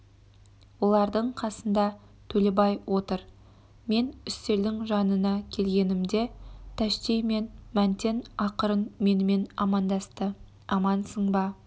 олардың қасында төлебай отыр мен үстелдің жанына келгенімде тәшти мен мәнтен ақырын менімен амандасты амансың ба